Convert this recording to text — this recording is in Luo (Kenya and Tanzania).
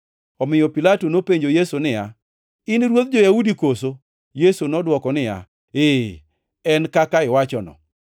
Omiyo Pilato nopenjo Yesu niya, “In ruodh jo-Yahudi koso?” Yesu nodwoko niya, “Ee, en kaka iwachono.”